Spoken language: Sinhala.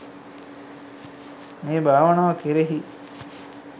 මේ භාවනාව කෙරෙහි